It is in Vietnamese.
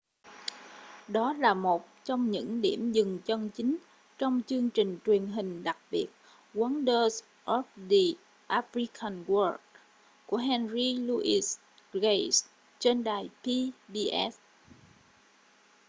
đó là một trong những điểm dừng chân chính trong chương trình truyền hình đặc biệt wonders of the african world của henry louis gates trên đài pbs